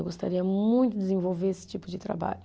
Eu gostaria muito de desenvolver esse tipo de trabalho.